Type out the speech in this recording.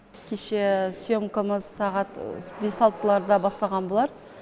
кеше сьемкамыз сағат бес алтыларда басталған болар